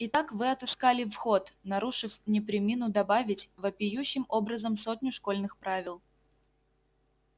итак вы отыскали вход нарушив не премину добавить вопиющим образом сотню школьных правил